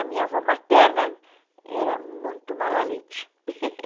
A minha avó materna era muito malalete